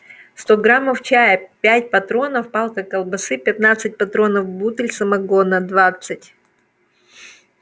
сто граммов чая пять патронов палка колбасы пятнадцать патронов бутыль самогона двадцать